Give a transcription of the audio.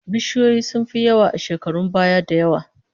Bishiyoyi sun fi yawa a shekarun baya da yawa